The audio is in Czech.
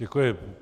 Děkuji.